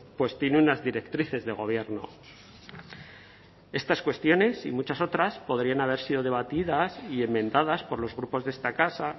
pues tiene unas directrices de gobierno estas cuestiones y muchas otras podrían haber sido debatidas y enmendadas por los grupos de esta casa